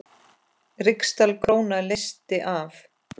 Ríksdal króna leysti af.